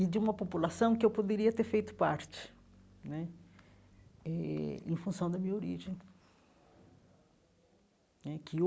e de uma população que eu poderia ter feito parte né eh, em função da minha origem né que